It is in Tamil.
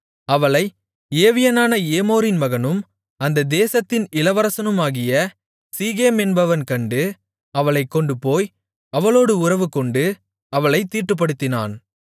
அவளை ஏவியனான ஏமோரின் மகனும் அந்த தேசத்தின் இளவரசனுமாகிய சீகேம் என்பவன் கண்டு அவளைக் கொண்டுபோய் அவளோடு உறவுகொண்டு அவளைத் தீட்டுப்படுத்தினான்